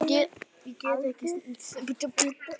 Thomas Lang skipti litum.